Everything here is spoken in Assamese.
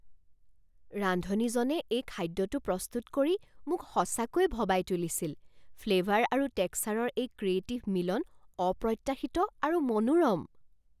ৰান্ধনীজনে এই খাদ্যটো প্ৰস্তুত কৰি মোক সঁচাকৈয়ে ভবাই তুলিছিল, ফ্লেভাৰ আৰু টেক্সাৰৰ এই ক্ৰিয়েটিভ মিলন অপ্ৰত্যাশিত আৰু মনোৰম।